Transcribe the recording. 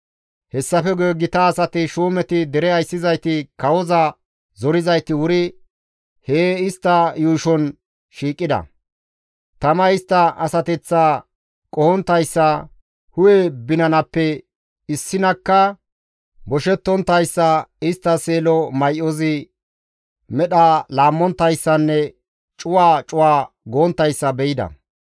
Hessafe guye gita asati, shuumeti, dere ayssizayti, kawoza zorizayti wuri hee istta yuushon shiiqida; tamay istta asateththaa qohonttayssa, hu7e binanappe issineyakka boshettonttayssa, istta seelo may7ozi medha laammonttayssanne cuwa cuwa gonttayssa be7ida.